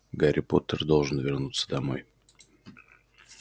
гарри поттер должен вернуться домой